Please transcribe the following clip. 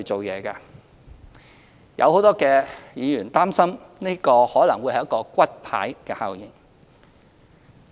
有很多議員擔心，這可能會是一個"骨牌效應"。